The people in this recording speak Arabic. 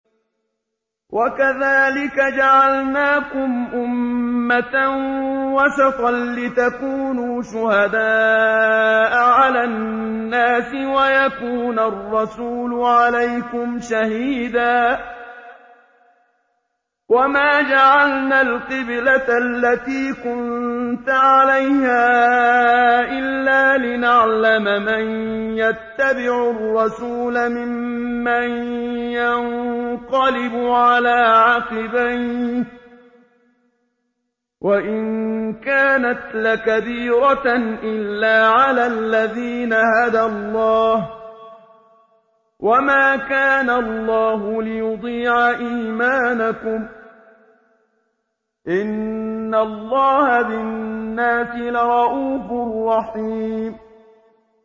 وَكَذَٰلِكَ جَعَلْنَاكُمْ أُمَّةً وَسَطًا لِّتَكُونُوا شُهَدَاءَ عَلَى النَّاسِ وَيَكُونَ الرَّسُولُ عَلَيْكُمْ شَهِيدًا ۗ وَمَا جَعَلْنَا الْقِبْلَةَ الَّتِي كُنتَ عَلَيْهَا إِلَّا لِنَعْلَمَ مَن يَتَّبِعُ الرَّسُولَ مِمَّن يَنقَلِبُ عَلَىٰ عَقِبَيْهِ ۚ وَإِن كَانَتْ لَكَبِيرَةً إِلَّا عَلَى الَّذِينَ هَدَى اللَّهُ ۗ وَمَا كَانَ اللَّهُ لِيُضِيعَ إِيمَانَكُمْ ۚ إِنَّ اللَّهَ بِالنَّاسِ لَرَءُوفٌ رَّحِيمٌ